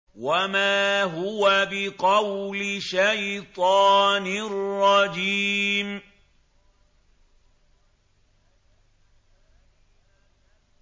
وَمَا هُوَ بِقَوْلِ شَيْطَانٍ رَّجِيمٍ